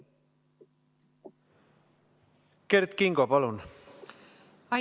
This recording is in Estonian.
Kert Kingo, palun!